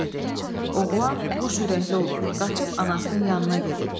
Oğlan quşürəkli olur, qaçıb anasının yanına gedib.